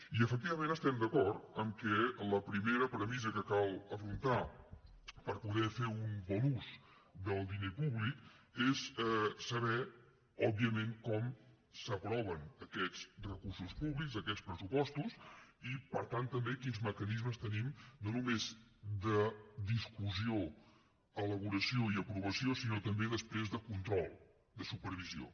i efectivament estem d’acord en que la primera premissa que cal afrontar per poder fer un bon ús del diner públic és saber òbviament com s’aproven aquests recursos públics aquests pressupostos i per tant també quins mecanismes tenim no només de discussió elaboració i aprovació sinó també després de control de supervisió